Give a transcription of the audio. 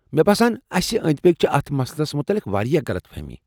مےٚ باسان اسہِ أنٛدۍ پٔکۍ چھِ اتھ مسلس متعلق واریاہ غلط فہمی۔